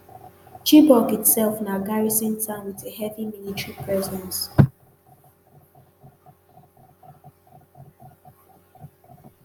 chibok itself na garrison town with a heavy military presence